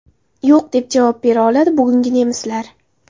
Yo‘q, deb javob bera oladi bugun nemislar.